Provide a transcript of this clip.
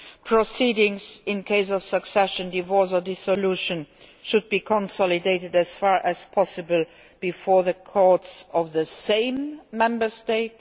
proceedings in the event of succession, divorce or dissolution should be consolidated as far as possible before the courts of the same Member State